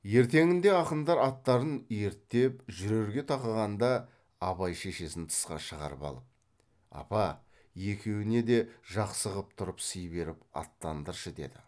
ертеңінде ақындар аттарын ерттеп жүрерге тақағанда абай шешесін тысқа шығарып алып апа екеуіне де жақсы қып тұрып сый беріп аттандыршы деді